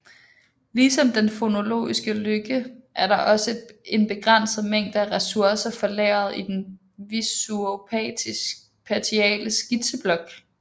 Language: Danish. Ligesom den fonologiske løkke er der også en begrænset mængde af ressourcer for lageret i den visuospatiale skitseblok